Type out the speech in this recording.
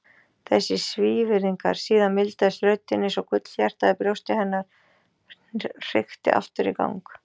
Þessir svíðingar. Síðan mildaðist röddin einsog gullhjartað í brjósti hennar hrykki aftur í gang.